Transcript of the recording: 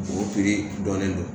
Mɔgɔ kiiri dɔnnen don